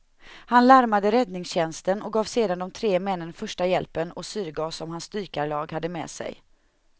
Han larmade räddningstjänsten och gav sedan de tre männen första hjälpen och syrgas som hans dykarlag hade med sig.